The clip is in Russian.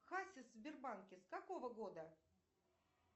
хасис в сбербанке с какого года